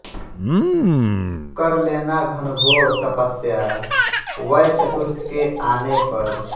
कर लेना घनघोर तपस्या वय चतुर्थ के आने पर